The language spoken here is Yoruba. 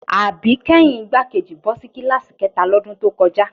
Àbíkẹ́yìn igbákejì bọ́ sí kíláàsì kẹ́ta lọ́dún tó kọjá